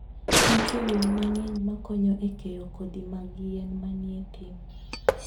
Nitie winy mang'eny makonyo e keyo kodhi mag yien manie thim.